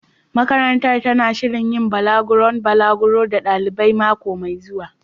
Makarantar tana shirin yin balaguron balaguro ga ɗalibai mako mai zuwa.